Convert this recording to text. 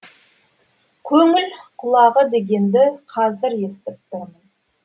көңіл құлағы дегенді қазір естіп тұрмын